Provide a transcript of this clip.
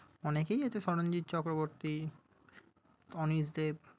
অনেকেই আছে শরঞ্জিত চক্রবর্তী, অনীশ দেব।